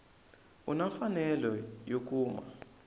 u na mfanelo yo kuma